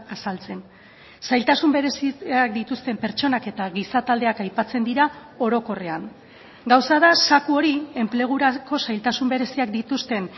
azaltzen zailtasun bereziak dituzten pertsonak eta gizataldeak aipatzen dira orokorrean gauza da zaku hori enplegurako zailtasun bereziak dituzten